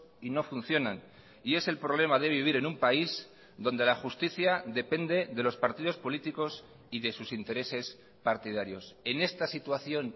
y no funcionan y es el problema de vivir en un país donde la justicia depende de los partidos políticos y de sus intereses partidarios en esta situación